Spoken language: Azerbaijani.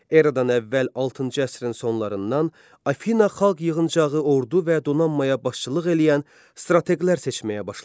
Eradan əvvəl altıncı əsrin sonlarından Afina Xalq Yığıncağı ordu və donanmaya başçılıq eləyən strateqlər seçməyə başladı.